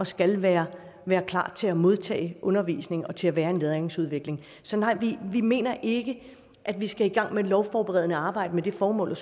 skal være være klar til modtage undervisning og til at være i en læringsudvikling så nej vi mener ikke at vi skal i gang med et lovforberedende arbejde med det formål